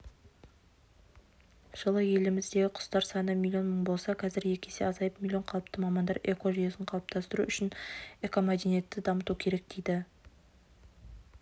жылы еліміздегі құстар саны миллион мың болса қазір екі есе азайып миллион қалыпты мамандар экожүйені қалыптастыру үшін экомәдениетті дамыту керек дейді